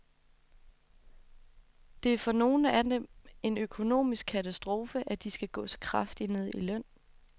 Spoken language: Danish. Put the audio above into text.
Det er for nogle af dem en økonomisk katastrofe, at de skal gå så kraftigt ned i løn.